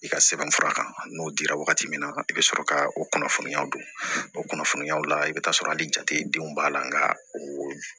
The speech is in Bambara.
I ka sɛbɛnfura kan n'o dira wagati min na i bɛ sɔrɔ ka o kunnafoniya don o kunnafoniyaw la i bɛ taa sɔrɔ hali jate denw b'a la nka o